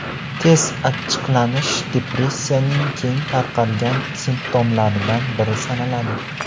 Tez achchiqlanish depressiyaning keng tarqalgan simptomlaridan biri sanaladi.